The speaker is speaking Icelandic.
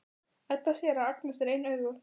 Edda sér að Agnes er ein augu.